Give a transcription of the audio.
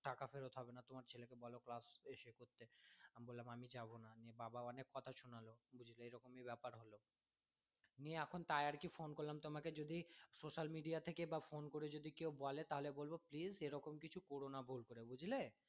নিয়ে এখন তাই আরকি phone করলাম তোমাকে যে যদি social media থেকে বা phone করে যদি কেউ বলে তাহলে বলব please এরকম কিছু করো না ভুল করে বুঝলে